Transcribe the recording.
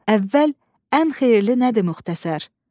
Əvvəl: "Ən xeyirli nədir müxtəsər?"